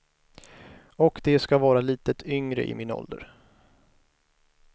Och de ska vara lite yngre, i min ålder.